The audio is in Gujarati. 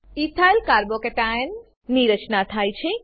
ઇથાઇલ Carbo cationch3 ચ2 ની રચના થાય છે